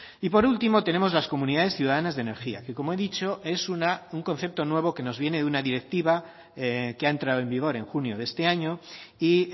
y por último tenemos las comunidades ciudadanas de energía que como he dicho es un concepto nuevo que nos viene de una directiva que ha entrado en vigor en junio de este año y